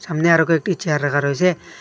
সামনে আরও কয়েকটি চেয়ার রাখা রয়েছে।